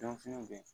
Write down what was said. Donfiniw bɛ yen